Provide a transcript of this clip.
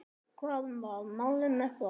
Hvað var málið með það?